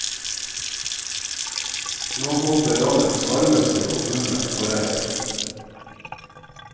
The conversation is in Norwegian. Nå håper landets varmeste kommune på regn.